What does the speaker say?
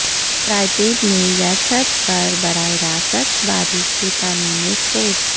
parapet میں یا چھت پر براہ راست بارش کے پانی میں سپوٹس